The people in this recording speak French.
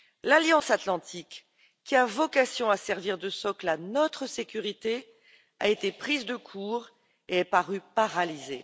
L'Alliance atlantique, qui a vocation à servir de socle à notre sécurité, a été prise de court et est parue paralysée.